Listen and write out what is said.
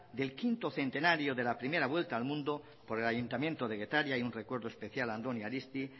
del quinto centenario de la primera vuelta al mundo por el ayuntamiento de getaria y un recuerdo especial a andoni aristi